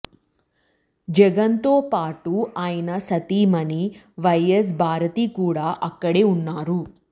జగన్తో పాటు ఆయన సతీమణి వైఎస్ భారతి కూడా అక్కడే ఉన్నారు